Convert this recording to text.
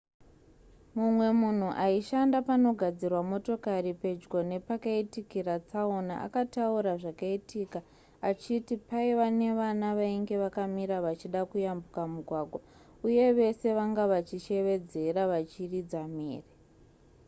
mumwe munhu aishanda panogadzirwa motokari pedyo nepakaitikira tsaona akataura zvakaitika achiti paiva nevana vainge vakamira vachida kuyambuka mugwagwa uye vese vanga vachishevedzera vachiridza mhere